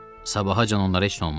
Sabahacan onlara heç nə olmaz.